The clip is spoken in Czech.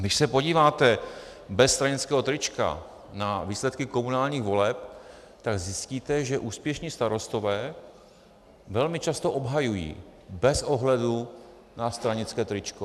Když se podíváte bez stranického trička na výsledky komunálních voleb, tak zjistíte, že úspěšní starostové velmi často obhajují bez ohledu na stranické tričko.